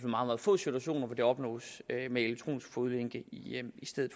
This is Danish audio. meget få situationer hvor det opnås med elektronisk fodlænke i stedet